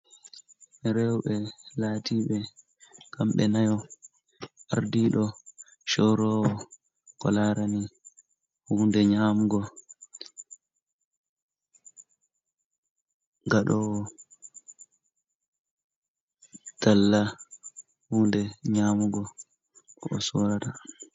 Rewɓe, laatii ɓe kamɓe nayo. Ardiiɗo, corroowo ko larani huunde nyaamugo, gaɗoowo talla, huunde nyaamugo o soorata.